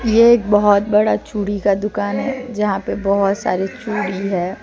यह एक बहुत बड़ा चूड़ी का दुकान है यहां पे बहुत सारे चूड़ी है।